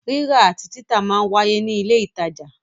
Rírà àti títà máa ń wáyé ní ilé ìtajà.